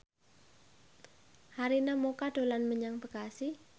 Arina Mocca dolan menyang Bekasi